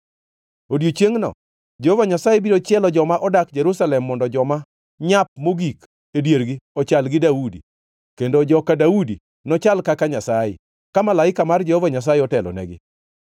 Odiechiengno Jehova Nyasaye biro chielo joma odak Jerusalem mondo joma nyap mogik e diergi ochal gi Daudi, kendo joka Daudi nochal kaka Nyasaye, ka malaika mar Jehova Nyasaye otelonegi.